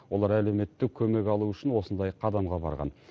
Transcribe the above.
олар әлеуметтік көмек алу үшін осындай қадамға барған